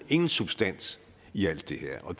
ingen substans i alt det her og